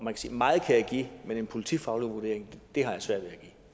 meget kan jeg give men en politifaglig vurdering har jeg svært